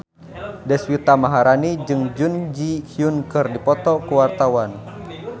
Deswita Maharani jeung Jun Ji Hyun keur dipoto ku wartawan